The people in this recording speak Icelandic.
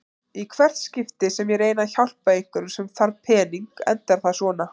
Í hvert skipti sem ég reyni að hjálpa einhverjum sem þarf pening endar það svona.